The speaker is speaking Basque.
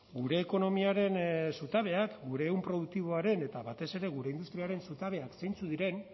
gure ekonomiaren zutabeak gure ehun produktiboaren eta batez ere gure industriaren zutabeak zeintzuk diren